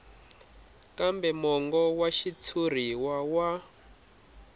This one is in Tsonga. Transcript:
kambe mongo wa xitshuriwa wa